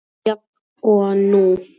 Jafn og nú.